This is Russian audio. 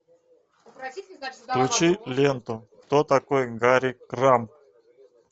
включи ленту кто такой гарри крамб